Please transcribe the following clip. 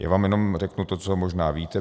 Já vám jenom řeknu to, co možná víte.